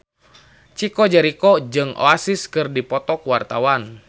Chico Jericho jeung Oasis keur dipoto ku wartawan